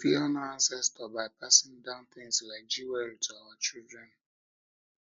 we fit honour ancestor by passing down things like jewelry to our children